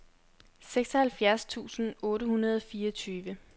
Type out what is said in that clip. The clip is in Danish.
seksoghalvfjerds tusind otte hundrede og fireogtyve